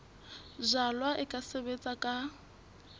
jalwa e ka sebetswa ka